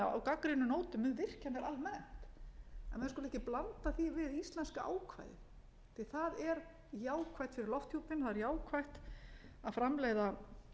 gagnrýnum nótum um virkjanir almennt en menn skulu ekki blanda því við íslenska ákvæðið því að það er jákvætt fyrir lofthjúpinn það er jákvætt að framleiða